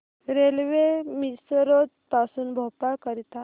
railway Misrod पासून भोपाळ करीता